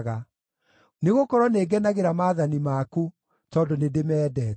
nĩgũkorwo nĩngenagĩra maathani maku tondũ nĩndĩmendete.